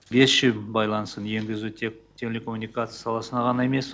бес джи байланысын енгізу тек телекоммуникация саласына ғана емес